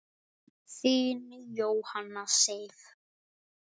Þín, Jóhanna Sif.